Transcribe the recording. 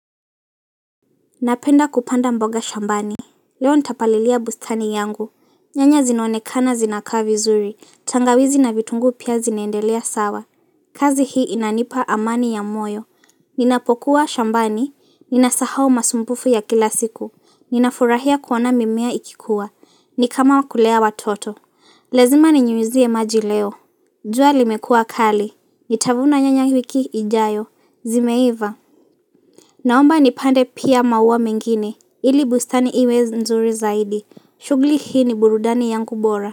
Napenda kupanda mboga shambani, leo nitapalilia bustani yangu, nyanya zinonekana zinakaa vizuri, tangawizi na vitunguu pia zinendelea sawa, kazi hii inanipa amani ya moyo, ninapokuwa shambani, ninasahau masumbufu ya kila siku, ninafurahia kuona mimea ikikua, ni kama kulea watoto, lazima ninyunyizie maji leo jua limekua kali, nitavuna nyanya wiki ijayo, zimeiva. Naomba nipande pia maua mengine, ili bustani iwe nzuri zaidi, shughuli hii ni burudani yangu bora.